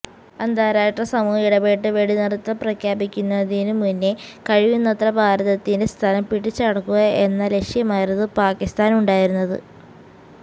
അന്താരാഷ്ട്ര സമൂഹം ഇടപെട്ട് വെടിനിര്ത്തല് പ്രഖ്യാപിക്കുന്നതിനു മുന്നേ കഴിയുന്നത്ര ഭാരതത്തിന്റെ സ്ഥലം പിടിച്ചടക്കുക എന്ന ലക്ഷ്യമായിരുന്നു പാകിസ്ഥാനുണ്ടായിരുന്നത്